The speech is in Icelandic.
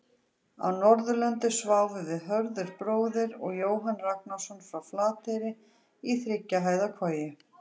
Á Norðurlandi sváfum við Hörður bróðir og Jóhann Ragnarsson frá Flateyri í þriggja hæða koju.